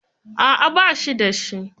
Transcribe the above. A'a, ba shi da shi.